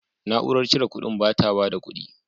Na'urar cire kuɗin ba ta bada kudi.